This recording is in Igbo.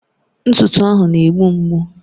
Ntụtụ ahụ na-egbu mgbu